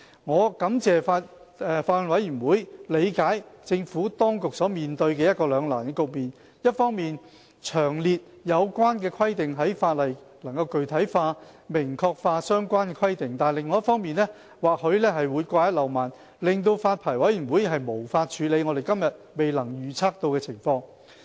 我感謝法案委員會理解政府當局所面對的兩難的局面：一方面，把有關規定詳列在法例內，能具體化、明確化相關的規定；但另一方面，或許會掛一漏萬，令發牌委員會無法處理我們今天未能預測到的情況。